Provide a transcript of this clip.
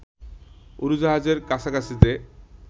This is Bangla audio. উড়োজাহাজের কাছাকাছিতে